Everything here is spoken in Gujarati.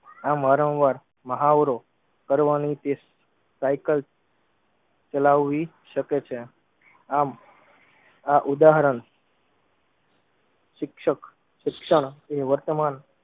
આમ વારમ વાર મહાવરો કરવાની તે સાઇકલ ચલાવવી શકે છે. આમ આ ઉદાહરણ શિક્ષક શિક્ષણ નું વર્તમાન